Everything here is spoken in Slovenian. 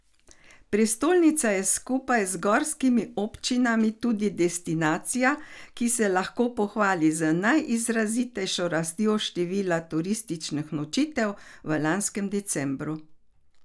Prestolnica je skupaj z gorskimi občinami tudi destinacija, ki se lahko pohvali z najizrazitejšo rastjo števila turističnih nočitev v lanskem decembru.